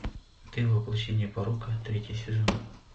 ты воплощение порока третий сезон